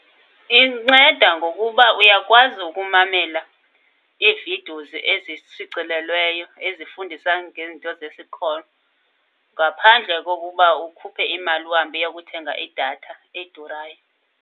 Inceda ngokuba uyakwazi ukumamela ii-videos ezishicilelweyo ezifundisa ngezinto zesikolo ngaphandle kokuba ukhuphe imali uhambe uyokuthenga idatha edurayo.